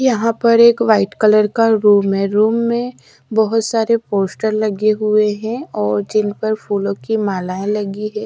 यहां पर एक वाइट कलर का रूम है रूम में बहोत सारे पोस्टर लगे हुए हैं और जिन पर फूलों की मलायें लगी है।